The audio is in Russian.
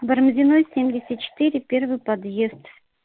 барамзиной семьдесят четыре первый подъезд